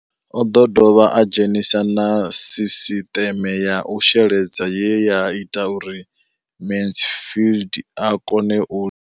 O ḓo dovha a dzhenisa na sisiṱeme ya u sheledza ye ya ita uri Mansfied a kone u.